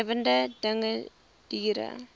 lewende dinge diere